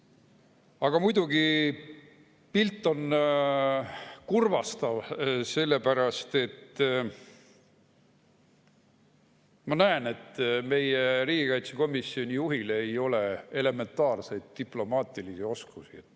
Aga muidugi, pilt on kurvastav, sellepärast et ma näen, et meie riigikaitsekomisjoni juhil ei ole elementaarseid diplomaatilisi oskusi.